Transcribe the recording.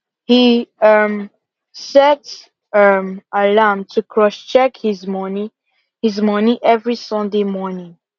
he um set um alarm to cross check his money his money every sunday morning